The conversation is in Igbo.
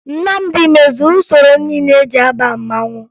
Nnamdi mezuru usoro niile eji aba mmanwụ